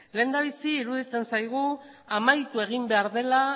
lehendabizi iruditzen zaigu amaitu egin behar dela